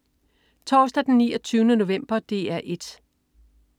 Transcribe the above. Torsdag den 29. november - DR 1: